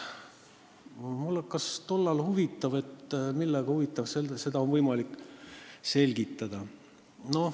Mind hakkas tollal huvitama, millega oli võimalik seda selgitada.